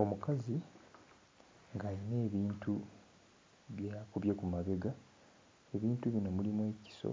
Omukazi ng'ayina ebintu byakubye ku mabega. Ebintu bino mulimu ekiso,